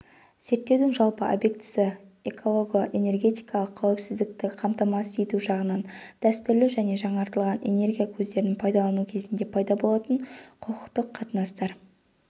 зерттеудің жалпы объектісі экологоэнергетикалық қауіпсіздікті қамтамасыз ету жағынан дәстүрлі және жаңартылатын энергия көздерін пайдалану кезінде пайда болатын құқықтық қатынастар